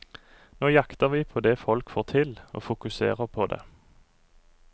Nå jakter vi på det folk får til, og fokuserer på det.